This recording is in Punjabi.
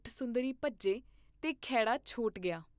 ਸੁੰਦਰੀ ਭੱਜੇ ਤੇ ਖਹਿੜਾ ਛੋਟ ਗਿਆ।